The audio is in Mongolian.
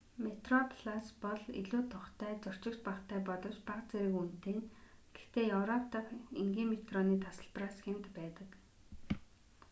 метроплас бол илүү тухтай зорчигч багатай боловч бага зэрэг үнэтэй нь гэхдээ европ дахь энгийн метроны тасалбараас хямд байдаг